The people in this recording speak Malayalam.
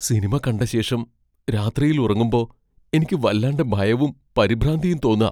സിനിമ കണ്ടശേഷം രാത്രിയിൽ ഉറങ്ങുമ്പോ എനിക്ക് വല്ലാണ്ടെ ഭയവും പരിഭ്രാന്തിയും തോന്നാ.